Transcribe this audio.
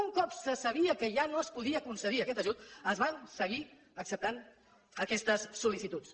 un cop se sabia que ja no es podia concedir aquest ajut es van seguir acceptant aquestes sol·licituds